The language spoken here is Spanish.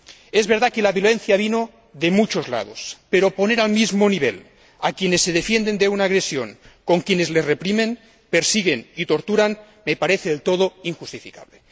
Es verdad que la violencia vino de muchos lados, pero poner al mismo nivel a quienes se defienden de una agresión con quienes les reprimen, persiguen y torturan me parece del todo injustificable.